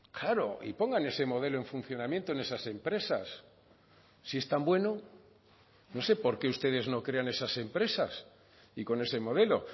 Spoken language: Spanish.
claro y pongan ese modelo en funcionamiento en esas empresas si es tan bueno no sé por qué ustedes no crean esas empresas y con ese modelo